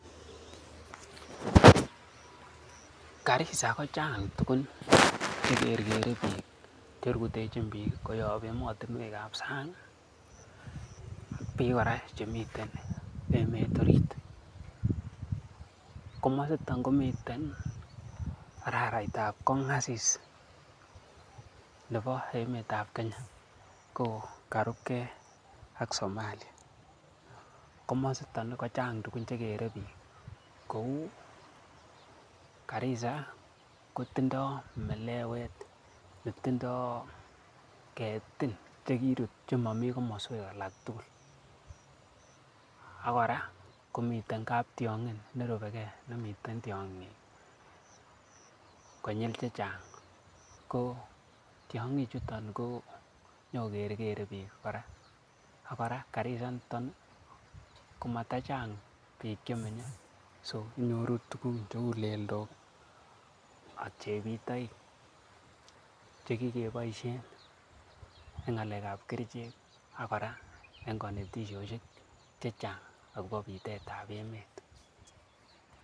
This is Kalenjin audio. Garissa kochang tugun che gergere biik, cherutechin biik koyop emotinweek ab sang, biik kora chemiten emet orit. Komositon kmite araraitab kongasis nebo emetab Kenya ko karubge ak Somalia. Komosito kochang tugun che keree biik kou: Garissa kotindo melewet netindoi ketin chekirut che momi komoswek alak tugul ak kora komiten kaptiong'in nerubege nemitien tiong'ik konyil che chang. Ko tiongik chuto konyoko keregere biik, kora Garissa initon komatachang biik che menye so inyoru tuguk cheu leldok che ak chebitoik che kigeboisien en ng'alekab kerichek al kora en konetishoshek chechang agobo bitet ab emet.